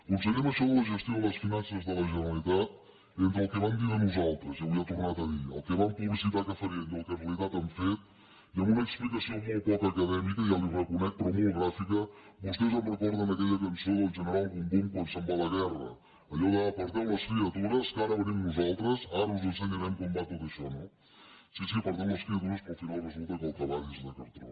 conseller amb això de la gestió de les finances de la generalitat entre el que van dir de nosaltres i avui ha tornat a dir el que van publicitar que farien i el que en realitat han fet i amb una explicació molt poc acadèmica ja li ho reconec però molt gràfica vostès em recorden aquella cançó d’ el general bum bum quan se’n va a la guerra allò d’ aparteu les criatures que ara venim nosaltres ara us ensenyarem com va tot això no sí sí aparteu les criatures però al final resulta que el cavall és de cartró